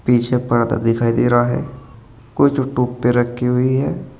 पीछे पर्दा दिखाई दे रहा है कुछ जो टोप पे रखी हुई है।